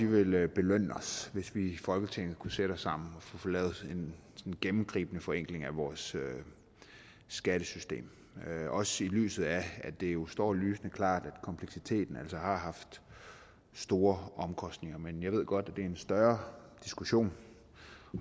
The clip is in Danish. vil belønne os hvis vi i folketinget kunne sætte os sammen og få lavet en gennemgribende forenkling af vores skattesystem også i lyset af at det jo står lysende klart at kompleksiteten altså har haft store omkostninger men jeg ved godt at det er en større diskussion